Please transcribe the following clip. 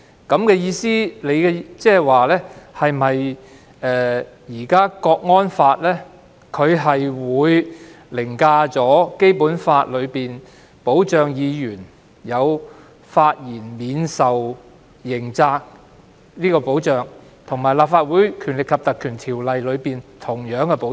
你的意思是否指，現時《港區國安法》會凌駕於《基本法》當中對於議員發言免受刑責的保障，以及《立法會條例》當中的同樣保障？